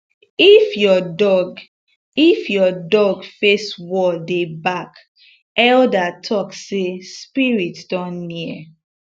if your dog if your dog face wall dey bark elder talk say spirit don near